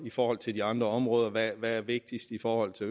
i forhold til de andre områder hvad er vigtigt i forhold til